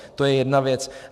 To je jedna věc.